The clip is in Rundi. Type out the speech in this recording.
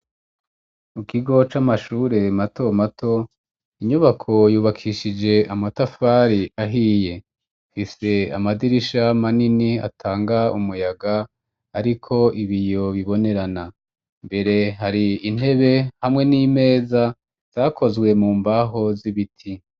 Mu kigo c'amashure mato mato inyubako yubakishije amatafari ahiye ifise amadirisha manini atanga umuyaga ariko ibiyo bibonerana mbere hari intebe hamwe n'imeza zakozwe mu mbaho z'ibiti.